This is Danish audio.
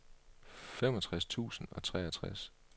femogtres tusind og treogtres